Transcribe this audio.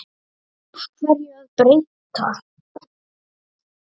Af hverju að breyta?